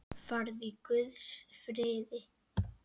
Farðu í Guðs friði.